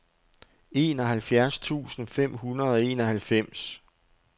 enoghalvfjerds tusind fem hundrede og enoghalvfems